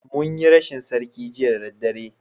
Mun yi rashin sarki Jiya da daddare